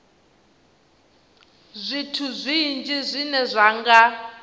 zwithu zwinzhi zwine zwa nga